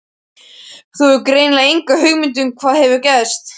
Þú hefur greinilega enga hugmynd um hvað hefur gerst.